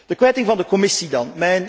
De kwijting van de Commissie dan.